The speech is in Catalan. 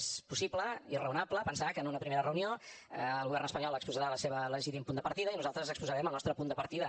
és possible i raonable pensar que en una primera reunió el govern espanyol exposarà el seu legítim punt de partida i nosaltres exposarem el nostre punt de partida